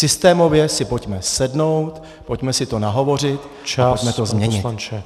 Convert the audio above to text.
Systémově si pojďme sednout, pojďme si to nahovořit a pojďme to změnit.